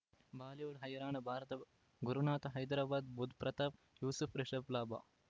Bollywood ಹೈರಾಣ ಭಾರತ ಗುರುನಾಥ ಹೈದರಾಬಾದ್ ಬುಧ್ ಪ್ರತಾಪ್ ಯೂಸುಫ್ ರಿಷಬ್ ಲಾಭ